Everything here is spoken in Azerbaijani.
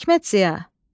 Hikmət Ziya.